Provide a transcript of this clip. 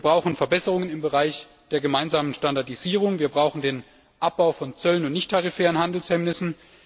Wir brauchen Verbesserungen im Bereich der gemeinsamen Standardisierung. Wir brauchen den Abbau von Zöllen und nichttarifären Handelshemmnissen.